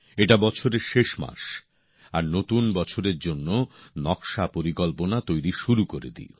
এটা বছরের শেষ মাস আর নতুন বছরের জন্য নকশাপরিকল্পনা তৈরি শুরু করে দিই